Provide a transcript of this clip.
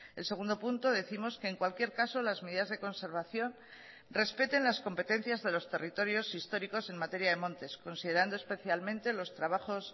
el segundo punto décimos que en cualquier caso las medidas de conservación respeten las competencias de los territorios históricos en materia de montes considerando especialmente los trabajos